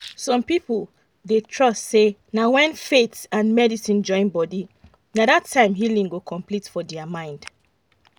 some people dey trust say na when faith and medicine join body na that time healing go complete for their mind.